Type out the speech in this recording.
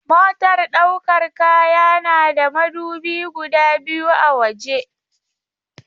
Motar ɗaukar kaya na da madubi guda biyu a waje.